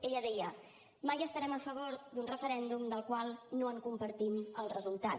ella deia mai estarem a favor d’un referèndum del qual no en compartim el resultat